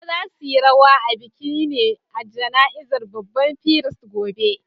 Dodo za' su yi rawa a bikin ne a jana'izar babban firist gobe.